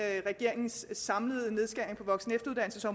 regeringens samlede nedskæringer på voksen